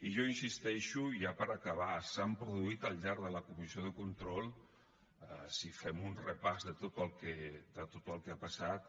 i jo hi insisteixo i ja per acabar s’han produït al llarg de la comissió de control si fem un repàs de tot el que ha passat